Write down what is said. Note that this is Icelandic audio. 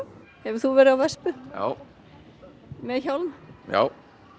hefur þú verið á vespu já með hjálm já